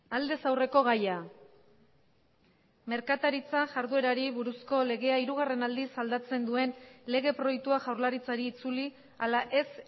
aldez aurreko gaia merkataritza jarduerari buruzko legea hirugarren aldiz aldatzen duen lege proiektua jaurlaritzari itzuli ala ez